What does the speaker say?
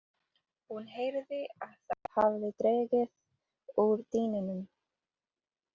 Hún heyrði að það hafði dregið úr dyninum.